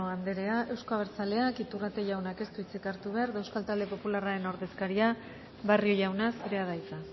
andrea euzko abertzaleak iturrate jauna ez du hitzik hartu behar euskal talde popularraren ordezkaria barrio jauna zurea da hitza